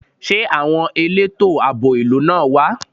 Ṣé àwọn elétò àbò ìlú náà wá?